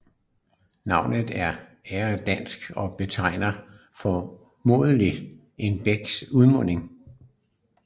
Navnet er angeldansk og betegner formodentlig en bæks udmunding